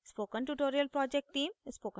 spoken tutorial project team: